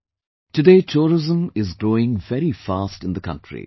Friends, Today tourism is growing very fast in the country